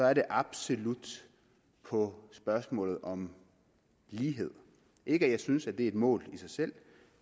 er det absolut på spørgsmålet om lighed ikke at jeg synes at det er et mål i sig selv